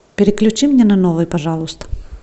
переключи мне на новый пожалуйста